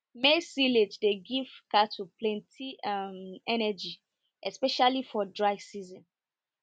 maize silage dey give cattle plenty um energy especially for dry season